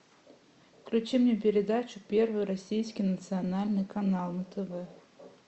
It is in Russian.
включи мне передачу первый российский национальный канал на тв